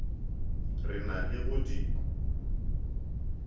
re na le go di